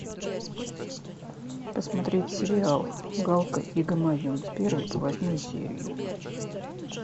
посмотреть сериал галка и гамаюн с первой по восьмую серию